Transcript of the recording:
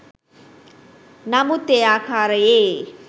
නමුත් ඒ ආකාරයේ